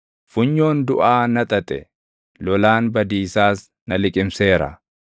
Funyoon duʼaa na xaxe; lolaan badiisaas na liqimseera.